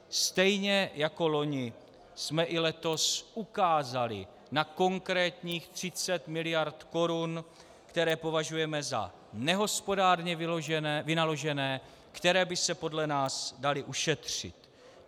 Stejně jako loni jsme i letos ukázali na konkrétních 30 mld. korun, které považujeme za nehospodárně vynaložené, které by se podle nás daly ušetřit.